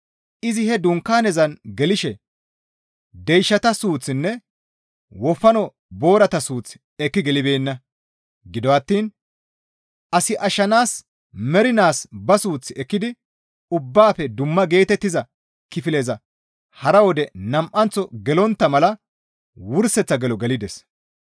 Izi he dunkaanezan gelishe deyshata suuththinne wofano boorata suuth ekki gelibeenna; gido attiin as ashshanaas mernaas ba suuth ekkidi ubbaafe dumma geetettiza kifileza hara wode nam7anththo gelontta mala wurseththa gelo gelides.